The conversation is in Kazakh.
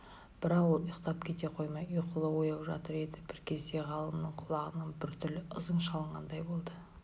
бірақ ол ұйықтап кете қоймай ұйқылы-ояу жатыр еді бір кезде ғалымның құлағына біртүрлі ызың шалынғандай болды